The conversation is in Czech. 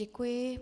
Děkuji.